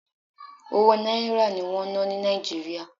Owó Náírà ní wọ́n ń ná ní Nàìjíríà.